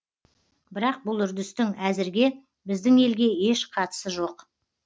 бірақ бұл үрдістің әзірге біздің елге еш қатысы жоқ